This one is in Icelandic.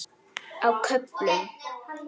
Á köflum.